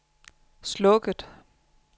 slukket